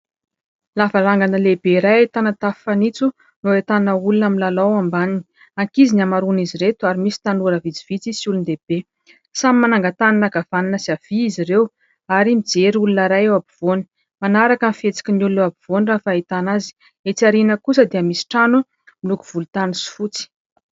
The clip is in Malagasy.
Lavarangana lehibe iray ahitana tafo fanitso no ahitana olona milalao ao ambaniny. Ankizy ny hamaroan'izy ireto ary misy tanora vitsivitsy sy olon-dehibe. Samy mananga-tanana ankavanana sy havia izy ireo ary mijery olona iray eo ampovoany. Manaraka ny fihetsikin'ny olona eo ampovoany raha ny fahitana azy. Etsy aorina kosa dia misy trano miloko volontany sy fotsy.